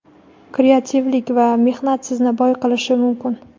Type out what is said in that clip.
Kreativlik va mehnat sizni boy qilishi mumkin.